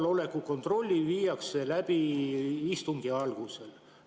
Te ütlesite, et kohaloleku kontroll viiakse läbi istungi alguses.